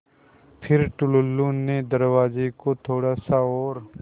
फ़िर टुल्लु ने दरवाज़े को थोड़ा सा और